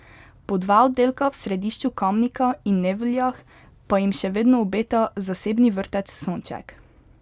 Po dva oddelka v središču Kamnika in Nevljah pa jim še vedno obeta zasebni vrtec Sonček.